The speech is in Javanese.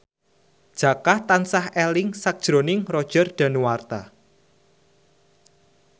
Jaka tansah eling sakjroning Roger Danuarta